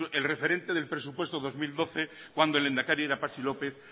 el referente del presupuesto dos mil doce cuando el lehendakari era patxi lópez